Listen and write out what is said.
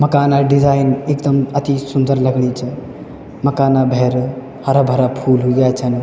मकान डिजाईन एकदम अति सुन्दर लगणी च मकाना भैर हरा-भरा फूल उग्न्या छन।